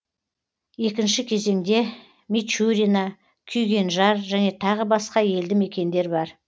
екінші кезеңде мичурино күйгенжар және тағы басқа елді мекендер бар